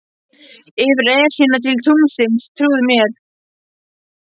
Yfir Esjuna til tunglsins, trúðu mér.